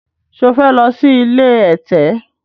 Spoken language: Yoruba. ṣe o fè ló sì ilé ẹ̀tẹ̀?